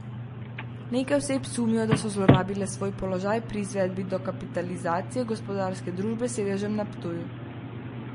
Nekaj oseb sumijo, da so zlorabile svoj položaj pri izvedbi dokapitalizacije gospodarske družbe s sedežem na Ptuju.